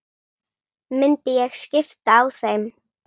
Myndi ég skipta á þeim?